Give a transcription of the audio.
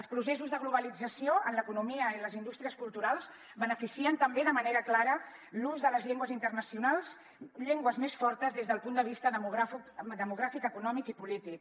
els processos de globalització en l’economia i en les indústries culturals beneficien també de manera clara l’ús de les llengües internacionals llengües més fortes des del punt de vista demogràfic econòmic i polític